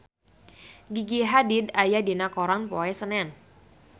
Gigi Hadid aya dina koran poe Senen